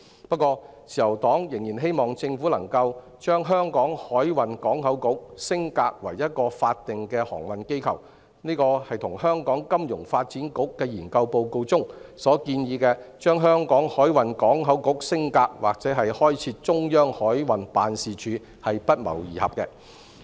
不過，自由黨仍然希望政府能夠把香港海運港口局升格為一個法定航運機構，這與香港金融發展局的研究報告提出把香港海運港口局升格或開設中央海運辦事處的建議不謀而合。